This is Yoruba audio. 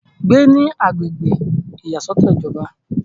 gbé ní agbègbè ìyàsọ́tọ̀ ìjọba